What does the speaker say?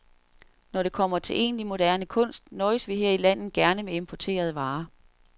Når det kommer til egentlig moderne kunst nøjes vi her i landet gerne med importerede varer.